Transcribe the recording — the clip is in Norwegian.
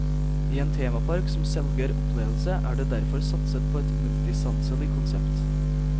I en temapark som selger opplevelse er det derfor satset på et multisanselig konsept.